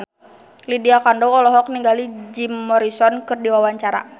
Lydia Kandou olohok ningali Jim Morrison keur diwawancara